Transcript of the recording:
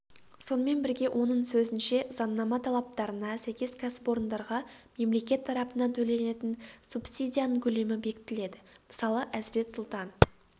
сонымен бірге оның сөзінше заңнама талаптарына сәйкес кәсіпорындарға мемлекет тарапынан төленетін субсидияның көлемі бекітіледі мысалы әзірет-сұлтан